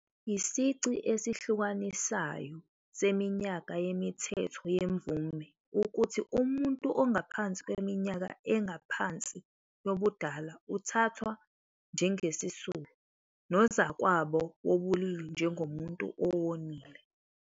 Isici esihlukanisayo seminyaka yemithetho yemvume ukuthi umuntu ongaphansi kweminyaka ephansi yobudala uthathwa njengesisulu, nozakwabo wobulili njengomuntu owonile.